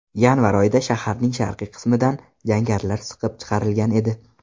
Yanvar oyida shaharning sharqiy qismidan jangarilar siqib chiqarilgan edi.